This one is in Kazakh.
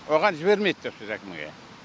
оған жібермейді деп сіз әкімге